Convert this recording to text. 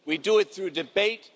We do it through debate.